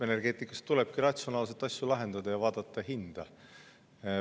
Energeetikas tulebki asju ratsionaalselt lahendada ja vaadata hinda.